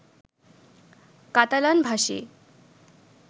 Catalan ভাষী,